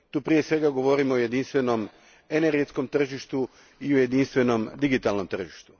Tu prije svega govorim o jedinstvenom energetskom tržištu i o jedinstvenom digitalnom tržištu.